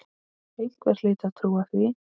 Einhver hlyti að trúa því.